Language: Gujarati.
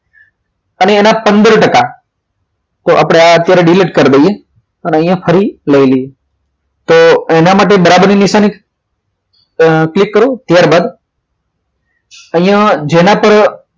અને એના પંદર ટકા તો આપણે અત્યારે delete કરી દઈએ અને અહિયાં ફરી લઈ લઈયા તો એના માટે બરાબર એની નિશાની ક્લિક કરો ત્યારબાદ અહીંયા જેના પર